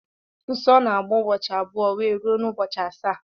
Nsó na-agba ụbọchị abụọ wee rue n'ubochi asaá.